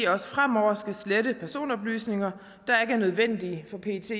også fremover skal slette personoplysninger der ikke er nødvendige for pets